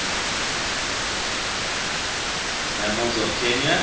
mammals of kenya